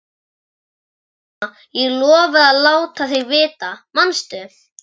Nei, mamma, ég lofaði að láta þig vita, manstu?